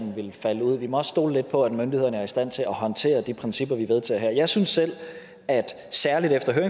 vil falde ud vi må også stole lidt på at myndighederne er i stand til at håndtere de principper vi vedtager her jeg synes selv særlig efter at